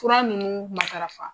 Fura nunnu matarafa.